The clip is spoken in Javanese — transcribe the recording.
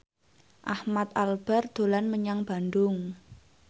Ahmad Albar dolan menyang Bandung